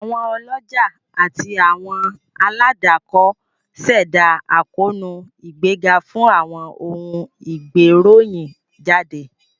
Àwọn ọlọ́jà àti àwọn aládàkọ ṣẹdá àkóónú ìgbéga fún àwọn ohun ìgbéròyìn jáde